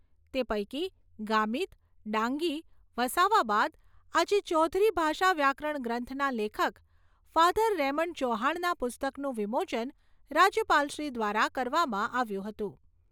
તે પૈકી ગામીત, ડાંગી, વસાવા બાદ આજે ચૌધરી ભાષા વ્યાકરણ ગ્રંથના લેખક ફાધર રેમન્ડ ચૌહાણના પુસ્તકનું વિમોચન રાજ્યપાલશ્રી દ્વારા કરવામાં આવ્યું હતું.